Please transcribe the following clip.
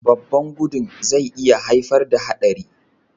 Babban gudun zai iya haifar da haɗari.